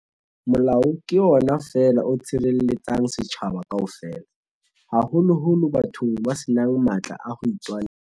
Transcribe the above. Molao ke ona feela o tshirelle-tsang setjhaba kaofela, haholoholo bathong ba senang matla a hoitwanela.